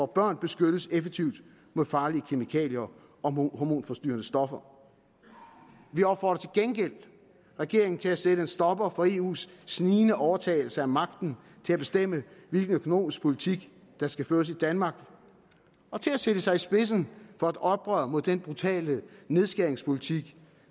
børn beskyttes effektivt mod farlige kemikalier og hormonforstyrrende stoffer vi opfordrer til gengæld regeringen til at sætte en stopper for eus snigende overtagelse af magten til at bestemme hvilken økonomisk politik der skal føres i danmark og til at sætte sig i spidsen for et oprør mod den brutale nedskæringspolitik